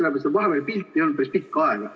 Vahepeal ei olnud pilti päris pikka aega.